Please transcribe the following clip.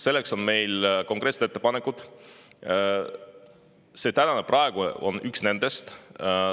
Selleks on meil konkreetsed ettepanekud ja see tänane on üks nendest.